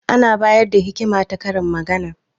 Ana bayar da hikima ta karin magana.